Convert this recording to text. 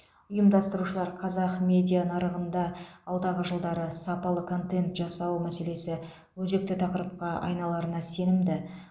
ұйымдастырушылар қазақ медиа нарығында алдағы жылдары сапалы контент жасау мәселесі өзекті тақырыпқа айналарына сенімді